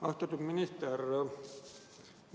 Austatud minister!